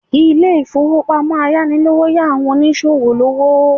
Ilé ìfowópamọ́ ayánilówóṣòwó ń yá àwọn oníṣòwò lówó